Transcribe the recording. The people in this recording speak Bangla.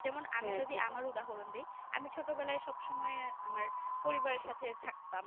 যেমন আমি যদি আমি উদাহরণ দে আমি ছোটবেলায় সব সময় আমার পরিবারের সাথে থাকতাম